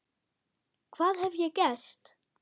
Hvað hef ég gert?